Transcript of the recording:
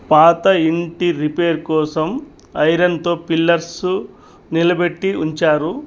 పాత ఇంటి రిపేర్ కోసం ఐరన్ తో పిల్లర్సు నిలబెట్టి ఉంచారు.